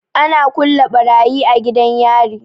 Ana kulle barayi a gidan yari.